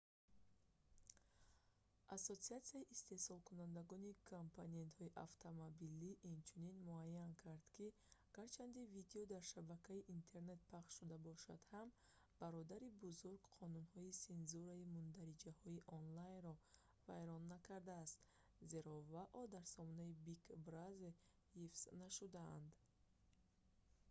ассотсиатсияи истеҳсолкунандагони компонентҳои автомобилӣ acma инчунин муайян кард ки гарчанде видео дар шабакаи интернет пахш шуда бошад ҳам бародари бузург қонунҳои сензураи мундариҷаҳои онлайнро вайрон накардаст зеро вао дар сомонаи big brother ҳифз нашудаанд